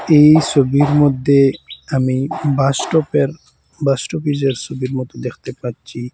এই সবির মধ্যে আমি বাসস্টপের বাস স্টপিজের ছবির মতো দেখতে পাচ্ছি।